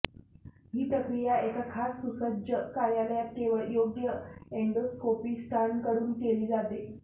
ही प्रक्रिया एका खास सुसज्ज कार्यालयात केवळ योग्य एंडोस्कोपिस्टांकडून केली जाते